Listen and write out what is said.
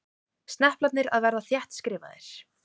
Sneplarnir að verða þéttskrifaðir.